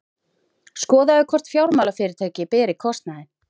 Skoðað hvort fjármálafyrirtæki beri kostnaðinn